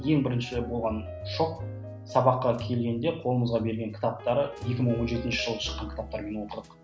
ең бірінші болған шок сабаққа келген де қолымызға берген кітаптары екі мың он жетінші жылы шыққан кітаптармен оқыдық